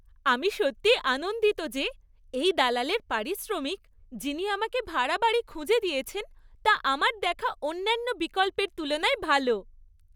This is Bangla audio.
আমি সত্যিই আনন্দিত যে এই দালালের পারিশ্রমিক, যিনি আমাকে ভাড়া বাড়ি খুঁজে দিয়েছেন, তা আমার দেখা অন্যান্য বিকল্পের তুলনায় ভাল।